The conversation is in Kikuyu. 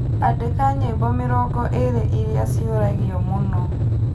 Andĩka nyĩmbo mĩrongo ĩĩrĩ iria ciũragwo mũno